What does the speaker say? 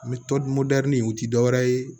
N bɛ tɔmɔdɛri u tɛ dɔ wɛrɛ ye